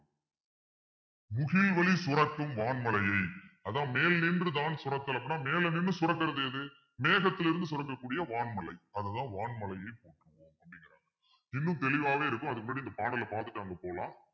சுரக்கும் வான்மழையை அதான் மேல் நின்றுதான் சுரத்தல் அப்பிடின்னா மேல நின்னு சுரக்கிறது எது மேகத்திலிருந்து சுரக்கக்கூடிய வான்மலை அதுதான் வான்மலையை போற்றுவோம் இன்னும் தெளிவாவே இருக்கும் அதுக்கு முன்னாடி இந்த பாடலை பாத்துட்டு அங்க போலாம்